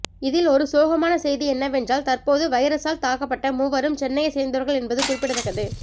இதில் ஒரு சோகமான செய்தி என்னவென்றால் தற்போது வைரஸால் தாக்கப்பட்ட மூவரும் சென்னையை சேர்ந்தவர்கள் என்பது குறிப்பிடத்தக்கது